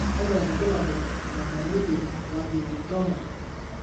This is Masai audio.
kakwa irbulabol o dalili Warthin tumor?